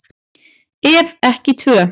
Ef ekki tvö.